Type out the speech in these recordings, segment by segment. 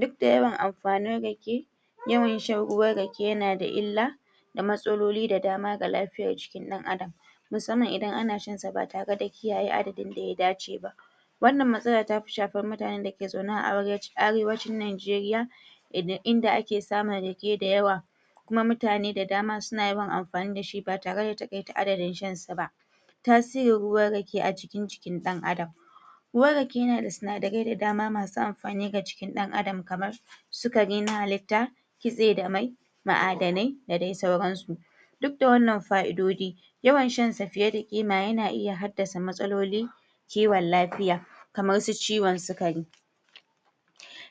Duk da yawan amafanin rake, yawan shan ruwan rake yana da illa da matsaloli da dama ga lafiyar jikin an'adam musamman idan ana shan sa ba tare da kiyaye adadin da ya dace ba Wannan matsala ta fi shafar mutanen da ke zaune a Arewacin Najeriya, inda ake samun rake da yawa Kuma mutane da dama suna yawan amfani da shi ba tare da taƙaita adadin shansa ba Tasirin ruwan rake a cikin jikin ɗan'adam: Ruwan rake yana da sinadarai da dama masu amfani ga jikin ɗan'adam, kamar sukari na halitta, kitse da mai ma'adanai da dai sauransu. Duk da wannan fa'idoji, yawan shansa fiye da kima yana iya haddasa matsaloli kiwon lafiya, kamar su ciwon sukari.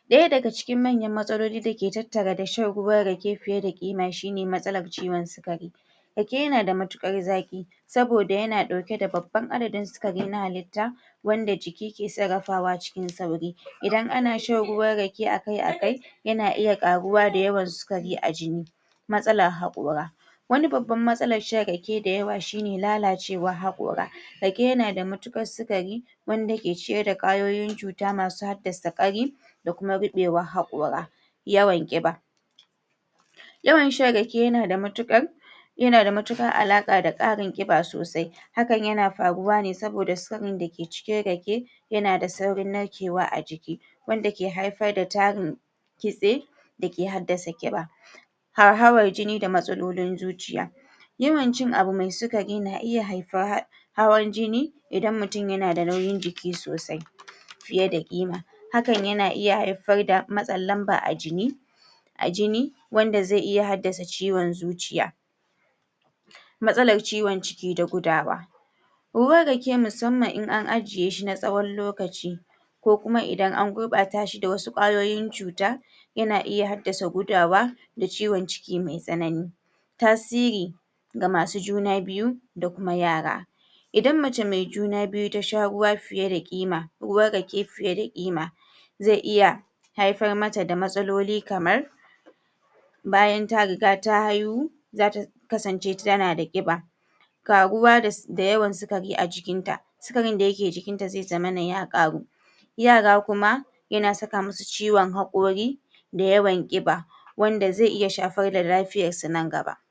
Ɗaya daga cikin matsaloli da ke tattare da shan ruwan rake fiye da ƙima shi ne matsalar ciwon sukari. Rake yana da matuƙar zaƙi saboda yana ɗauke da babban adadin sukari na halitta wanda juiki ke son rakawa cikin sauri. Idan ana shan ruwan rake a kai a kai, yana iya ƙaruwa da yawan sukari a jini Matsalar haƙora: Wani babban matsalar shan rake da yawa shi ne lalacewar haƙora. Rake yana da matuƙar sukari wanda ke cike da ƙwayoyin cuta masu haddasa ƙari da kuma ruɓewar haƙora. Yawan ƙiba: Yawan shan rake yana da matuƙar, yana da matuƙar alaƙa da ƙarin ƙiba sosai Hakan yana faruwa ne saboda sirrin da ke cikin rake, yana da saurin narkewa a jiki, wanda ke haifar da tarin kitse da ke haddasa ƙiba Hauhawar jini da matsalolin zuciya: Yawan cin abu mai sukari na iya haifa hawan jini idan mutum yana da nauyin jiki sosai fiye da ƙima Hakan yana iya haifar da matsin lamba a jini a jini wanda zai iya haddasa ciwon zuciya Matsalar ciwon ciki da gudawa: Ruwan rake musamman in an ajiye shi na tsawon lokaci ko kuma idan an gurɓata shi da wasu ƙwayoyin cuta yana iya haddasa gudawa da ciwon ciki mai tsanani Tasiri ga masu juna biyu da kuma yara: Idan mace mai juna biyu ta sha ruwan rake fiye da kima, zai iya haifar mata da matsaloli kamar, bayan ta riga ta haihu, za ta kasance tana da ƙiba ƙaruwa da yawan sukari a jikinta. Sukarin da ke jikinta zai zamana ya ƙaru Yara kuma yana saka musu ciwon haƙori